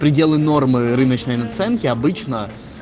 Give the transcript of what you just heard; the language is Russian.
пределы нормы рыночной наценки обычно